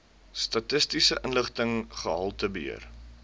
statistiese inligting gehaltebeheer